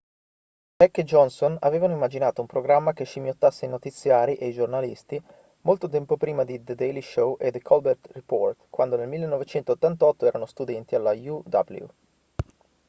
heck e johnson avevano immaginato un programma che scimmiottasse i notiziari e i giornalisti molto tempo prima di the daily show e the colbert report quando nel 1988 erano studenti alla uw